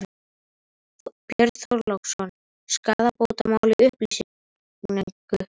Björn Þorláksson: Skaðabótamál í uppsiglingu?